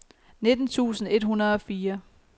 nitten tusind et hundrede og fire